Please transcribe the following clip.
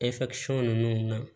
ninnu na